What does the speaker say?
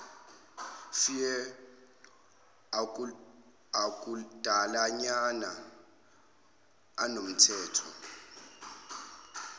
fear akudalanyana anomthetho